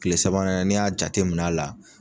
Kile sabanan ni y'a jateminɛ a la